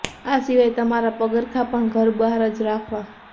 આ સિવાય તમારા પગરખા પણ ઘર બહાર જ રાખવા